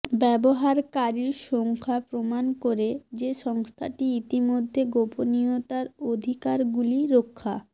ব্যবহারকারীর সংখ্যা প্রমাণ করে যে সংস্থাটি ইতিমধ্যে গোপনীয়তার অধিকারগুলি রক্ষা